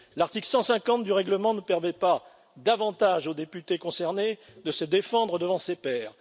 L'article 150 du règlement ne permet pas davantage au député concerné de se défendre devant ses pairs.